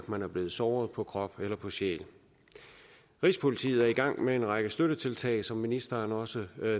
man er blevet såret på krop eller på sjæl rigspolitiet er i gang med en række støttetiltag som ministeren også